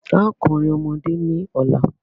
A ó kọrin ọmọdé ní ọ̀la.